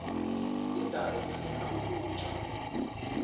indalo ifuna ukutya